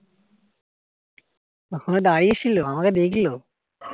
তখনও দাঁড়িয়েছিল আমাকে দেখলো